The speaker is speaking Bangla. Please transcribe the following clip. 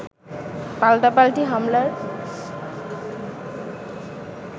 পাল্টাপাল্টি হামলার